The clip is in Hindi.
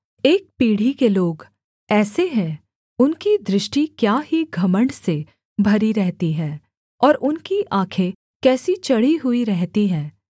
एक पीढ़ी के लोग ऐसे हैं उनकी दृष्टि क्या ही घमण्ड से भरी रहती है और उनकी आँखें कैसी चढ़ी हुई रहती हैं